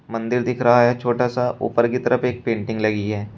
मंदिर दिख रहा है छोटा सा ऊपर की तरफ एक पेंटिंग लगी है।